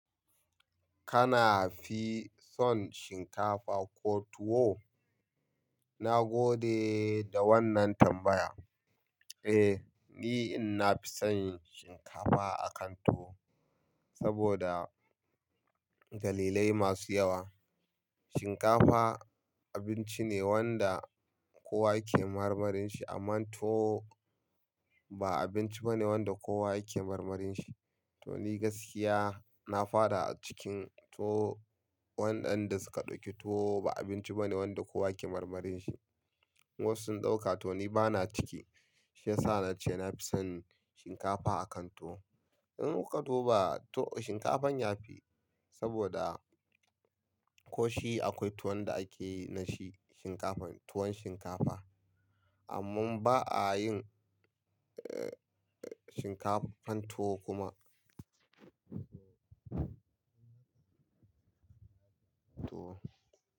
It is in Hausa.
Kana fi son shinkafa ko tuwo? Na gode da wannan tambaya. Eh, ni ina fi son shinkafa akan tuwo saboda dalilai masu yawa. Shinkafa abinci ne wanda kowa yake marmarin shi amma tuwo ba abinci ba ne wanda kowa yake marmarin shi. To ni gaskiya na fada a cikin to waɗanda suka ɗauki tuwo ba abinci ba ne wanda kowa yake marmarin shi. Wasu sun ɗauka to ni bana ciki. Shi yasa nace na fi son shinkafa akan tuwo. In ka duba tuwo shinkafan ya fi saboda ko shi akwai tuwon da akeyi nashi shinkafa tuwon shinkafa. Amma ba a yin, eh, eh, shinkafan tuwo kuma. Tuwo.